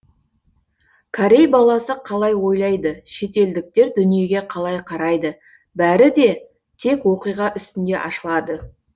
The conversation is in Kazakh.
корей баласы қалай ойлайды шетелдіктер дүниеге қалай қарайды бәрі де тек оқиға үстінде ашылады